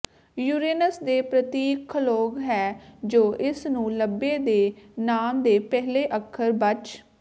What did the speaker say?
Uranus ਦੇ ਪ੍ਰਤੀਕ ਖਗੋਲ ਹੈ ਜੋ ਇਸ ਨੂੰ ਲੱਭੇ ਦੇ ਨਾਮ ਦੇ ਪਹਿਲੇ ਅੱਖਰ ਬਚ